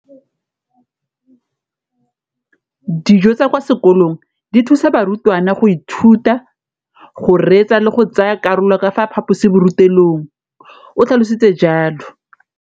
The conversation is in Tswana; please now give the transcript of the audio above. Dijo tsa kwa sekolong dithusa barutwana go ithuta, go reetsa le go tsaya karolo ka fa phaposiborutelong, o tlhalositse jalo.